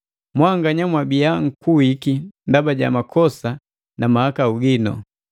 Mwanganya mwabiya nkuwiki ndaba ja makosa na mahakau ginu.